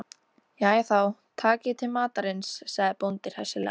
Jæja þá, takiði til matarins, sagði bóndi hressilega.